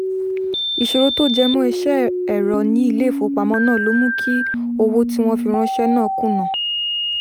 ìṣòro tó jẹ mọ́ iṣẹ́ ẹ̀rọ ní ilé ìfowópamọ́ náà ló mú kí owó tí wọ́n fi ránṣẹ́ náà kùnà